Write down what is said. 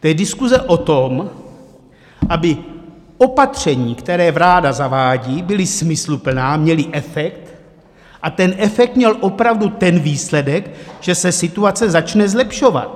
To je diskuze o tom, aby opatření, která vláda zavádí, byla smysluplná, měla efekt a ten efekt měl opravdu ten výsledek, že se situace začne zlepšovat.